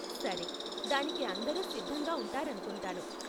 సరే, దానికి అందరూ సిద్ధంగా ఉంటారనుకుంటాను.